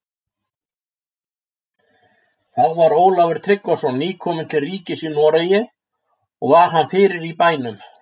Þá var Ólafur Tryggvason nýkominn til ríkis í Noregi, og var hann fyrir í bænum.